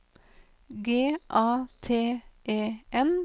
G A T E N